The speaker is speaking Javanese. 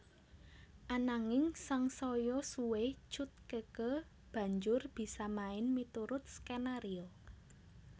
Ananging sangsaya suwé Cut Keke banjur bisa main miturut skenario